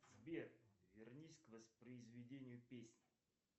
сбер вернись к воспроизведению песни